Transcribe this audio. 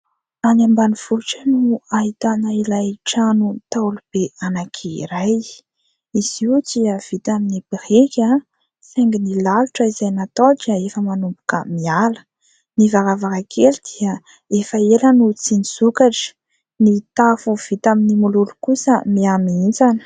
Any ambanivohitra no ahitana ilay trano ntaolo be anankiray. Izy io dia vita amin'ny biriky saingy ny lalotra izay natao dia efa manomboka miala. Ny varavarankely dia efa ela no tsy nisokatra. Ny tafo vita amin'ny mololo kosa, mihamihintsana.